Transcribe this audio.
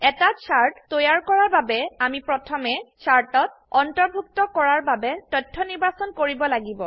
এটা চাৰ্ট তৈয়াৰ কৰাৰ বাবে আমি প্ৰথমে চাৰ্টত অন্তৰ্ভুক্ত কৰাৰ বাবে তথ্য নিৰ্বাচন কৰিব লাগিব